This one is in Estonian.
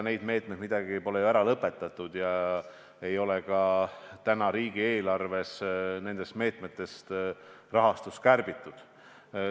Neid meetmeid ei ole ju lõpetatud ja pole ka riigieelarves nende meetmete rahastust kärbitud.